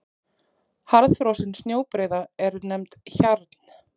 Harðfrosin snjóbreiða er nefnd hjarn.